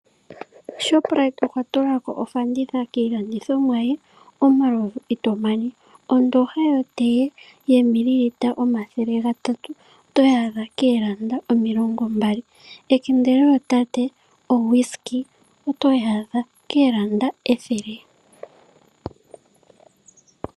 Shoprite okwa tula ko ofanditha kiilandithomwa ye omalovu itomana ondooha yotee yoomililita omathele gatatu otoyi adha koondola omilongo mbali. Ekende lyootate oWhiskey otoyi adha koondola ethele.